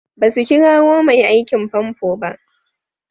Basu kirowa mai aikin fanfo ba.